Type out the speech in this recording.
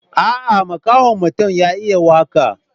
Aa, makahon mutum ya iya waka.